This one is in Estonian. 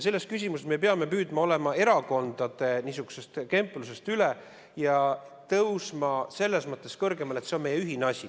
" Selles küsimuses me peame püüdma olla erakondade kemplusest üle ja tõusma selles mõttes kõrgemale, et see on meie ühine asi.